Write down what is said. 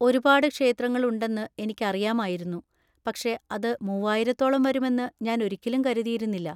ഒരുപാട് ക്ഷേത്രങ്ങൾ ഉണ്ടെന്ന് എനിക്കറിയാമായിരുന്നു, പക്ഷേ അത് മൂവ്വായിരത്തോളം വരുമെന്ന് ഞാൻ ഒരിക്കലും കരുതിയിരുന്നില്ല.